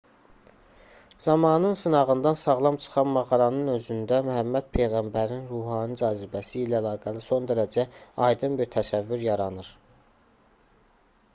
zamanın sınağından sağlam çıxan mağaranın özündə məhəmməd peyğəmbərin ruhani cazibəsi ilə əlaqəli son dərəcə aydın bir təsəvvür yaranır